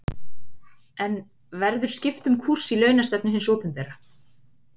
En verður skipt um kúrs í launastefnu hins opinbera?